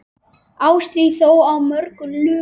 Árstíð þó á mörgu lumar.